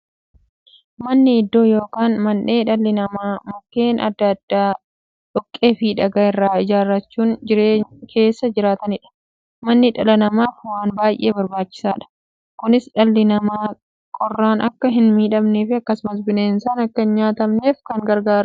Manni iddoo yookiin mandhee dhalli namaa Mukkeen adda addaa, dhoqqeefi dhagaa irraa ijaarachuun keessa jiraataniidha. Manni dhala namaaf waan baay'ee barbaachisaadha. Kunis, dhalli namaa qorraan akka hinmiidhamneefi akkasumas dhalli namaa bineensaan akka hin nyaatamneef baay'ee isaan gargaara.